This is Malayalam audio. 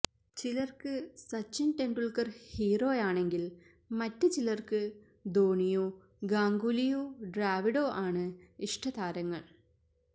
ചിലര്ക്ക് സച്ചിന് ടെണ്ടുല്ക്കര് ഹീറോയാണെങ്കില് മറ്റ് ചിലര്ക്ക് ധോണിയോ ഗാംഗുലിയോ ദ്രാവിഡോ ആണ് ഇഷ്ടതാരങ്ങള്